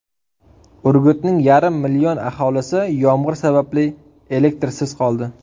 Urgutning yarim million aholisi yomg‘ir sababli elektrsiz qoldi .